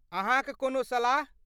अहाँक कोनो सलाह?